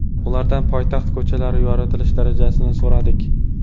Ulardan poytaxt ko‘chalarini yoritilish darajasini so‘radik.